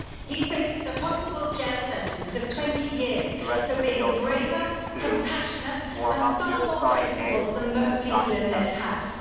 He faces a possible jail sentence of 20 years for being braver, compassionate and far more principled than most people in this House.